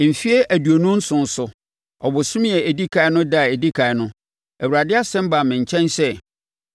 Mfeɛ aduonu nson so, ɔbosome a ɛdi ɛkan no ɛda a ɛdi ɛkan no, Awurade asɛm baa me nkyɛn sɛ: